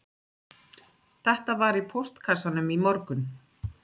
Þetta var í póstkassanum í morgun